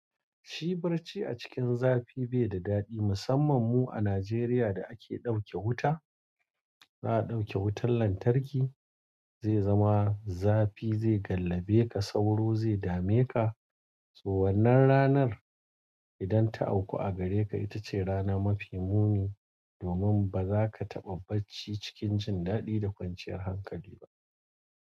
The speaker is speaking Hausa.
Shibarci a cikin zafi bai da daɗi, musamman mu a Najeriya da ake ɗauke wuta, za a ɗauke wutan lantarki zai zama zafi zai gallabe ka sauro zai dame ka. So wannan ranar idan ta auku a gare ka, ita ce rana mafi muni, domin ba za ka taɓa bacci cikin jin daɗi da kwanciyar hankali ba.